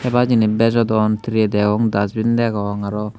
hebar jinis bejodon trey deong dasbin degong araw.